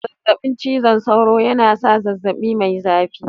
Zazzabi cizon sauro yana sa zazzabi mai zafi